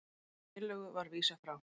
Þeirri tillögu var vísað frá